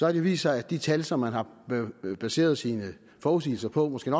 har det vist sig at de tal som man har baseret sine forudsigelser på måske